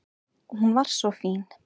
Og hún var svo fín.